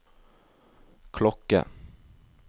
klokke